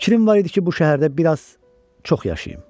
Fikrim var idi ki, bu şəhərdə bir az çox yaşayım.